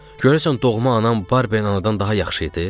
Görəsən doğma anam Barbier anadan daha yaxşı idi?